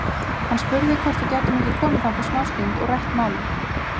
Hann spurði hvort við gætum ekki komið þangað smástund og rætt málin.